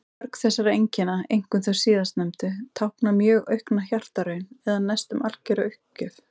Mörg þessara einkenna, einkum þau síðastnefndu, tákna mjög aukna hjartaraun eða næstum algjöra uppgjöf.